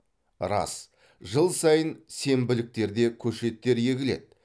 рас жыл сайын сенбіліктерде көшеттер егіледі